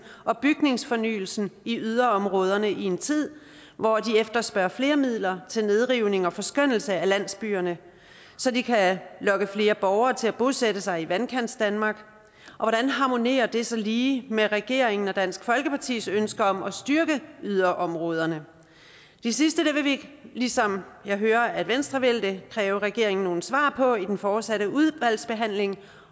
og bygningsfornyelsen i yderområderne i en tid hvor de efterspørger flere midler til nedrivning og forskønnelse af landsbyerne så de kan lokke flere borgere til at bosætte sig i vandkantsdanmark og hvordan harmonerer det så lige med regeringen og dansk folkepartis ønske om at styrke yderområderne det sidste vil vi ligesom jeg hører at venstre vil det kræve regeringen nogle svar på i den fortsatte udvalgsbehandling